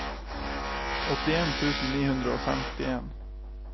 åttien tusen ni hundre og femtien